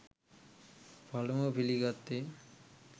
පළමුව පිළිගත්තේ